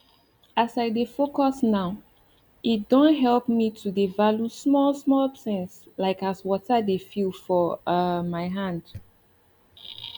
as i dey focus nowe don help me halt to dey value small small things like as water dey feel for um my hand